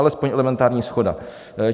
Alespoň elementární shoda!